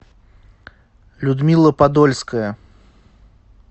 людмила подольская